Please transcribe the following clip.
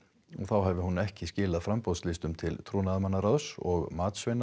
þá hafi hún ekki skilað framboðslistum til trúnaðarmannaráðs og